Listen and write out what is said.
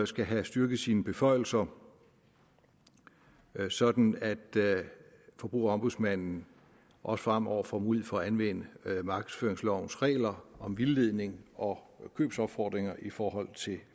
skal have styrket sine beføjelser sådan at forbrugerombudsmanden også fremover får mulighed for at anvende markedsføringslovens regler om vildledning og købsopfordringer i forhold til